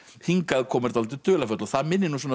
hingaðkoma er dálítið dularfull og það minnir